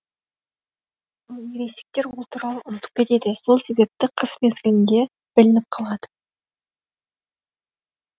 ал ересектер ол туралы ұмытып кетеді сол себепті қыс мезгілінде білініп қалады